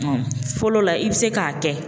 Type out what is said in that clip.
fɔlɔ la i be se k'a kɛ